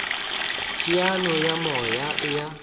teteano ya moya e a